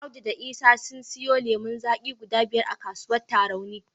Audu da Isa sun siyo lemon zaki guda biyar a kasuwar Tarauni.